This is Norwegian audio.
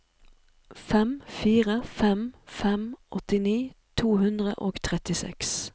fem fire fem fem åttini to hundre og trettiseks